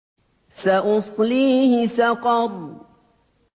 سَأُصْلِيهِ سَقَرَ